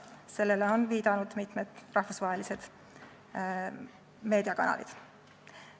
Sellele on viidanud mitmed rahvusvahelised meediakanalid.